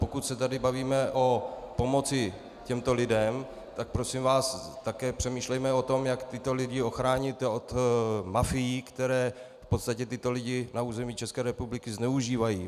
Pokud se tady bavíme o pomoci těmto lidem, tak prosím vás také přemýšlejme o tom, jak tyto lidi ochráníte od mafiemi, které v podstatě tyto lidi na území České republiky zneužívají.